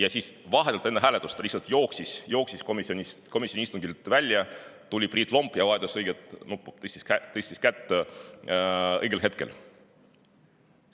Aga vahetult enne hääletust ta lihtsalt jooksis komisjoni istungilt välja ja tuli Priit Lomp, kes tõstis õigel hetkel kätt.